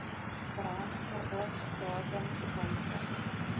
brandverbod datums wysig